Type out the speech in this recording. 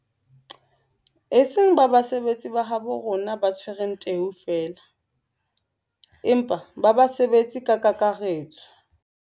E seng ba basebetsi ba habo rona ba tshwereng teu feela, empa ba basebetsi ka kakaretso.